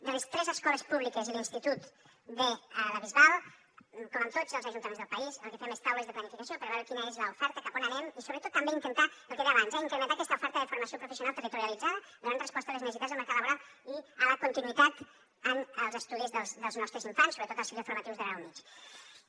de les tres escoles públiques i l’institut de la bisbal com amb tots els ajuntaments del país el que fem és taules de planificació per veure quina és l’oferta cap on anem i sobretot també intentar el que deia abans incrementar aquesta oferta de formació professional territorialitzada donant resposta a les necessitats del mercat laboral i a la continuïtat en els estudis dels nostres infants sobretot als cicles formatius de grau mitjà